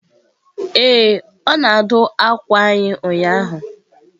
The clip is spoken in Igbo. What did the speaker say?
Ee, ọ na-adụ akwa anyị ụnyahụ.